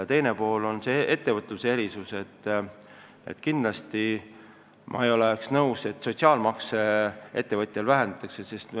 Ja teine pool selle erisuse juures on, et kindlasti ma ei oleks nõus, et sotsiaalmaksu ettevõtjal vähendatakse.